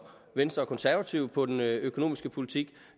venstre og konservative på den økonomiske politik